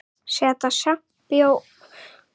Setja sjampó í hárið?